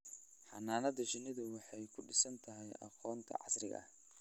Xannaanada shinnidu waxay ku dhisan tahay aqoonta casriga ah.